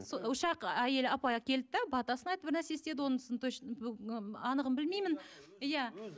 сол үш ақ әйел апай келді де батасын айтып бір нәрсе істеді онысын анығын білмеймін иә